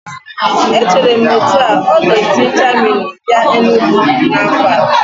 Echere m etu ahu, ọ ga-esi Jamini bịa Enugwu n'afọ a